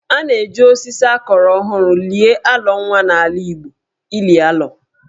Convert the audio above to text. A na-eji osisi a kụrụ ọhụrụ lie alọ nwa n'ala Igbo (ili alọ).